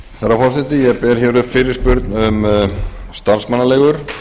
herra forseti ég ber upp fyrirspurn um starfsmannaleigur